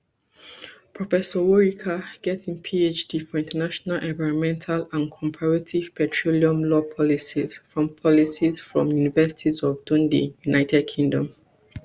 professorworika get in phd for international environmental and comparative petroleum law policy from policy from university of dundee united kingdom